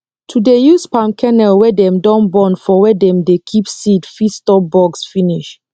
to dey use palm kernel wey dem don burn for wer dem dey keep seed fit stop bugs finish